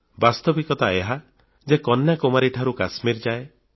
ବାସ୍ତବିକତା ଏହା ଯେ କନ୍ୟାକୁମାରୀ ଠାରୁ କାଶ୍ମୀର ଯାଏ